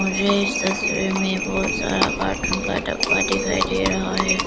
मुझे इस तस्वीर में बहुत सारा कार्टून का डब्बा दिखाई दे रहा है।